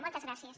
moltes gràcies